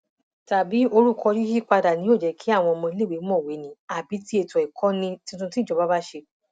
tàbí orúkọ yíyípadà ni yóò jẹ kí àwọn ọmọọléèwé mọwé ni àbí tí ètò ìkọni tuntun tí ìjọba bá ṣe